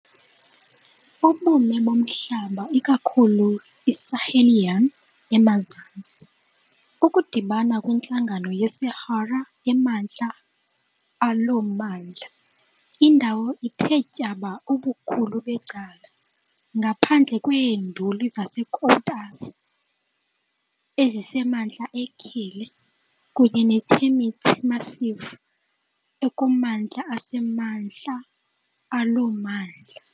Ubume bomhlaba ikakhulu yiSahelian emazantsi, Ukudibana kwintlango yeSahara emantla alo mmandla. Indawo ithe tyaba ubukhulu becala, ngaphandle kweeNduli zeKoutous, ezisemantla eKelle, kunye neTermit Massif ekumantla asemantla alo mmandla.